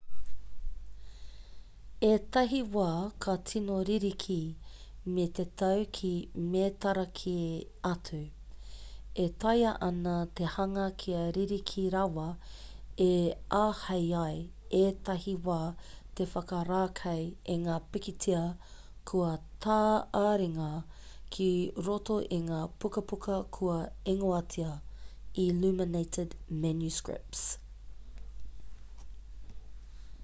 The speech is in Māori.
ētahi wā ka tīno ririki me te tau ki mētara kē atu e taea ana te hanga kia ririki rawa e āhei ai ētahi wā te whakarākei i ngā pikitia kua tā-āringa ki roto i ngā pukapuka kua ingoatia illuminated manuscripts